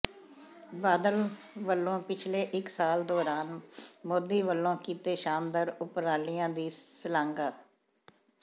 ਬਾਦਲ ਵੱਲੋਂ ਪਿਛਲੇ ਇਕ ਸਾਲ ਦੌਰਾਨ ਮੋਦੀ ਵੱਲੋਂ ਕੀਤੇ ਸ਼ਾਨਦਾਰ ਉਪਰਾਲਿਆਂ ਦੀ ਸਲਾਘਾ